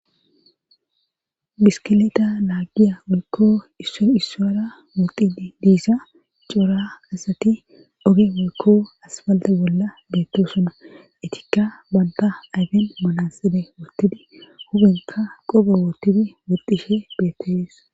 Biskileda laagiya wolkko isso issoyra woxidi diisa coora asati dhoge wolko asfalte bolla beettosuna etikka banta ayfen malasade wottidi hubenka qobo woottidi woxishe beettaees